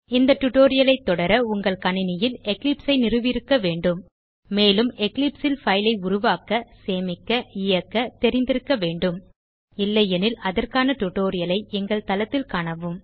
இந்த டியூட்டோரியல் ஐ தொடர உங்கள் கணினியில் எக்லிப்ஸ் ஐ நிறுவியிருக்க வேண்டும் மேலும் எக்லிப்ஸ் ல் பைல் ஐ உருவாக்க சேமிக்க இயக்க தெரிந்திருக்க வேண்டும் இல்லையெனில் அதற்கான டியூட்டோரியல் ஐ எங்கள் தளத்தில் காணவும்